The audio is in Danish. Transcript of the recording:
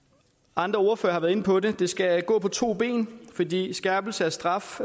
andre ordførere har været inde på det det skal gå på to ben fordi skærpelse af straf